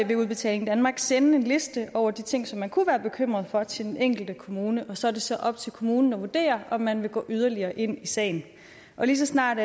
vil udbetaling danmark sende en liste over de ting som man kunne være bekymret for til den enkelte kommune og så er det så op til kommunen at vurdere om man vil gå yderligere ind i sagen lige så snart